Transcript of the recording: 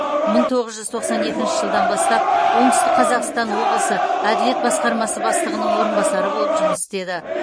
мың тоғыз жүз тоқсан екінші жылдан бастап оңтүстік қазақстан облысы әділет басқармасы бастығының орынбасары болып жұмыс істеді